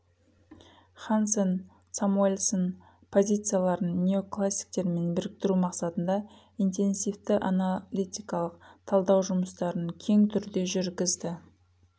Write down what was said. хансен самуэльсон позицияларын неоклассиктермен біріктіру мақсатында интенсивті аналитикалық талдау жұмыстарын кең түрде жүргізді